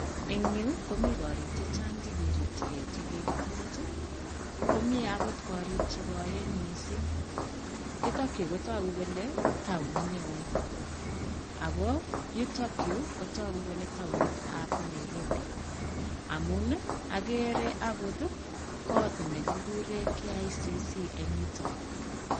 Eng yu komi koriik chechang chekirikchikei chekikitech, komi akot korik chekoen mising. Yutokyu kotoku kole taonit neo ako yutokyu kotoku kole taonitab Nairobi amun ageere akot kot nekikure KICC eng yutok.